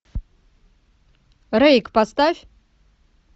рейк поставь